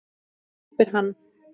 æpir hann.